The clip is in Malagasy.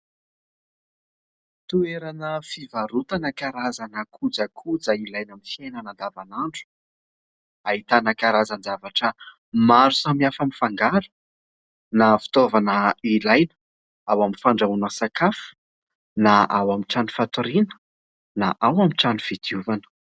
Toerana fivarotana karazana kojakoja ilaina amin'ny fiainana andavan'andro. Ahitana karazan-javatra maro samihafa mifangaro na fitaovana ilaina ao amin'ny fandrahoana sakafo na ao amin'ny trano fatoriana na ao amin'ny trano fidiovana.